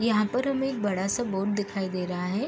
यहाँ पर हमे एक बड़ा सा बोर्ड दिखाई दे रहा है।